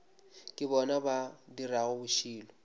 ke bona ba dirago bošilo